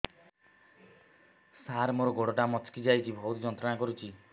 ସାର ମୋର ଗୋଡ ଟା ମଛକି ଯାଇଛି ବହୁତ ଯନ୍ତ୍ରଣା କରୁଛି